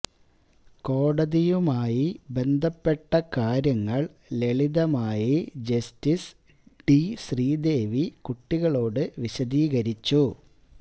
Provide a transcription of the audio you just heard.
കോടതിയുമായി ബന്ധപ്പെട്ട കാര്യങ്ങള് ലളിതമായി ജസ്റ്റിസ് ഡി ശ്രീദേവി കുട്ടികളോട് വിശദീകരിച്ചു